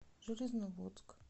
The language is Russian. железноводск